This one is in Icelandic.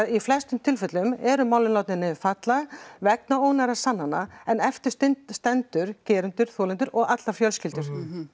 í flestum tilfellum eru málin látin niður falla vegna ónógra sannana en eftir standa gerendur þolendur og allar fjölskyldur